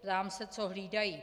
Ptám se, co hlídají?